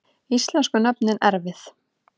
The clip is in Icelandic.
Íslensku nöfnin erfið